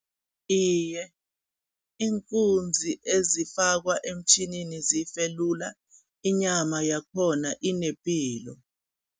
Iye, iinkunzi ezifakwa emtjhinini zife lula, inyama yakhona inepilo.